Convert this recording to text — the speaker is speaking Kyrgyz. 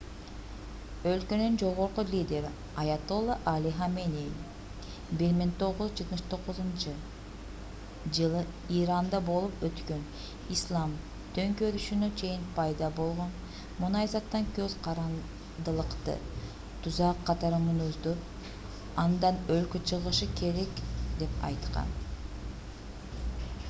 өлкөнүн жогорку лидери аятолла али хаменеи 1979-жылы иранда болуп өткөн ислам төңкөрүшүнө чейин пайда болгон мунайзаттан көз карандылыкты тузак катары мүнөздөп андан өлкө чыгышы керек деп айткан